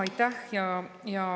Aitäh!